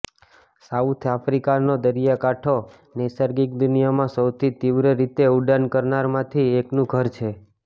south આફ્રિકાનો દરિયાકાંઠો નૈસર્ગિક દુનિયામાં સૌથી તીવ્ર રીતે ઉડાન કરનારમાંથી એકનું ઘર છે